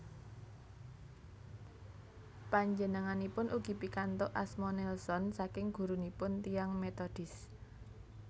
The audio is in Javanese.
Panjenenganipun ugi pikantuk asma Nelson saking gurunipun tiyang Metodis